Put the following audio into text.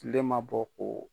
Tile ma bɔ k'o